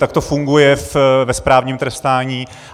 Tak to funguje ve správním trestání.